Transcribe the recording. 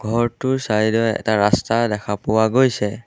ঘৰটোৰ চাইড ত এটা ৰাস্তা দেখা পোৱা গৈছে।